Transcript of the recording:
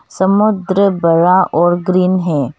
समुद्र बड़ा और ग्रीन है।